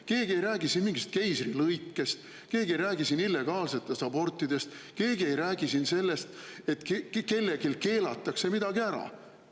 Keegi ei räägi siin mingist keisrilõikest, keegi ei räägi siin illegaalsetest abortidest, keegi ei räägi siin sellest, et keelatakse midagi ära.